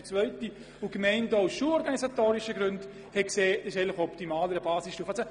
Die Gemeinden erachteten eine Basisstufe auch aus schulorganisatorischen Gründen als optimaler.